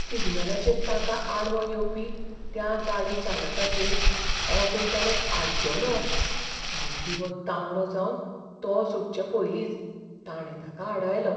सिग्नलाचेर ताका आडवो येवपी त्या गाडी चालकाचेर ऑटो चालक आड्डलो आनी दिवो तांबडो जावन तो सुटचे पयलींच ताणें ताका आडायलो.